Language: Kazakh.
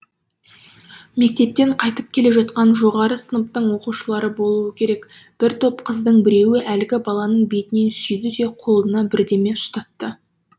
мектептен қайтып келе жатқан жоғары сыныптың оқушылары болуы керек бір топ қыздың біреуі әлгі баланың бетінен сүйді де қолына бірдеме ұстатты